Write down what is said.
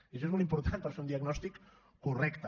i això és molt important per fer un diagnòstic correcte